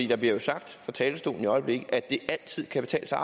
der bliver jo sagt fra talerstolen i øjeblikket at det altid kan betale sig